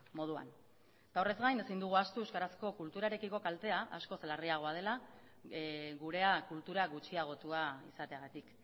moduan eta horrez gain ezin dugu ahaztu euskarazko kulturarekiko kaltea askoz larriagoa dela gurea kultura gutxiagotua izateagatik